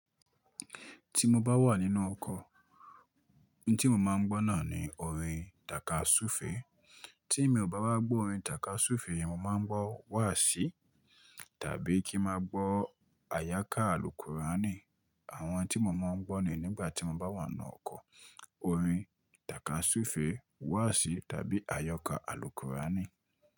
Ti mo bá wà nínú ọkọ̀, ohun tí mo máa ń gbọ́ náà ni orin tàkasúfèé. Tí mo ò bá wá gbọ́ orin tàkasúfèé, mo máa ń gbọ́ wáàsí tàbí kí máa gbọ́ àyákà alùkúrání. Àwọn tí mo máa ń gbọ́ ni nígbà tí mo bá wà nínú ọkọ̀ orin tàkasúfèé, wáàsí tàbí àyọkà alùkúrání.